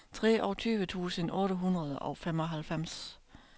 treogtyve tusind otte hundrede og femoghalvfems